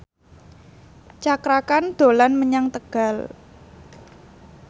Cakra Khan dolan menyang Tegal